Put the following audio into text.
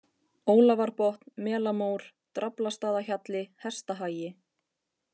Ólafarbotn, Melamór, Draflastaðahjalli, Hestahagi